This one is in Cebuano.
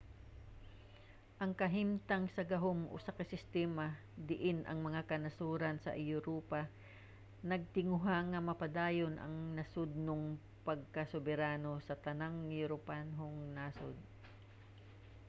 ang katimbang sa gahom usa ka sistema diin ang mga kanasoran sa europa nagtinguha nga mapadayon ang nasodnong pagkasoberano sa tanang europanhong nasod